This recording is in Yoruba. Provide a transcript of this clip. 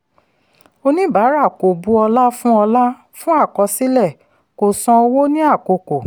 oníbàárà kò bu ọla fún ọla fún akọsilẹ̀ kò san owó ní àkókò.